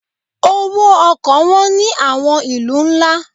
Owó ọkọ̀ wọn ní àwọn ìlú ńlá.